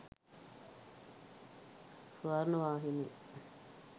swarnavahini